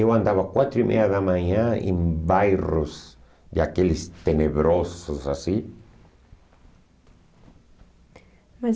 Eu andava quatro e meia da manhã em bairros de aqueles tenebrosos assim. Mas